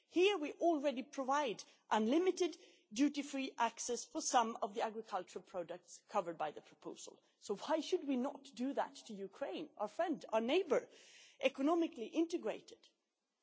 Here we already provide unlimited duty free access for some of the agricultural products covered by the proposal, so why should we not do that for Ukraine, our friend and economically integrated neighbour?